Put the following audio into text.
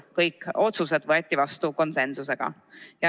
Kõik otsused võeti vastu konsensusega.